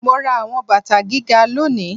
Mo ra àwọn bàtà gíga lónìí